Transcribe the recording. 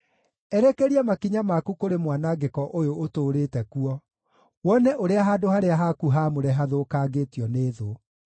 Erekeria makinya maku kũrĩ mwanangĩko ũyũ ũtũũrĩte kuo, wone ũrĩa handũ harĩa haku haamũre hathũkangĩtio nĩ thũ.